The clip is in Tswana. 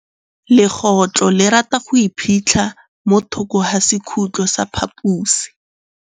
Legôtlô le rata go iphitlha mo thokô ga sekhutlo sa phaposi.